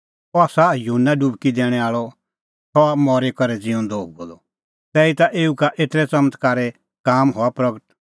अह आसा युहन्ना डुबकी दैणैं आल़अ और सह हुअ मरी करै ज़िऊंदअ तैहीता एऊ का एतरै च़मत्कारे काम हआ प्रगट